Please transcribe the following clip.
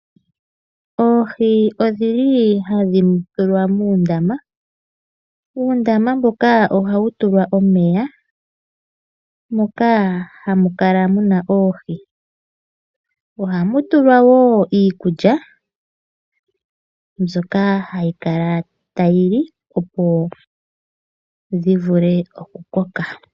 Oohi odhi li hadhi tulwa muundama. Uundama mbuka ohawu tulwa momeya moka hamu kala muna oohi. Ohamu tulwa wo iikulya mbyoka hayi kala tayi li opo dhi vule okukoka.